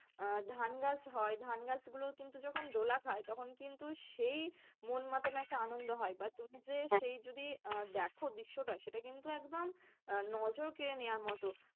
আহ ধান গাছ হয়, ধান গাছ গুলো কিন্তু যখন দোলা খায় তখন কিন্তু সেই মন মতানো একটা আনন্দ হয় বা তুমি যে যদি আহ দেখো সেই দৃশ্যটা সেটা কিন্তু একদম আহ নজর কেড়ে নেওয়ার মতো।